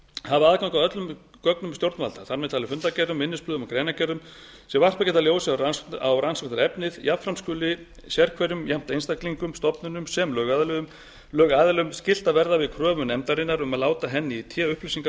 hafa aðgang að öllum gögnum stjórnvalda þar með talin fundargerðum minnisblöðum og greinargerðum sem varpað geta ljósi á rannsóknarefnið jafnframt skuli sérhverjum jafnt einstaklingum stofnunum sem lögaðilum skylt að verða við kröfum nefndarinnar um að láta henni í té upplýsingar